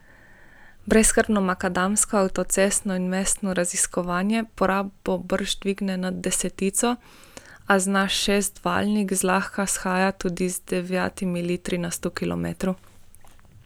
Brezskrbno makadamsko, avtocestno in mestno raziskovanje porabo brž dvigne nad desetico, a zna šestvaljnik zlahka shajati tudi z devetimi litri na sto kilometrov.